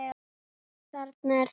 Þarna er það!